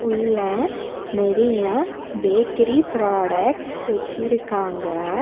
உள்ள நெறைய bakery products வச்சிருக்காங்க.